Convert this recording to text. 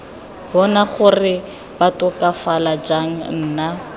bona gore batokafala jang nna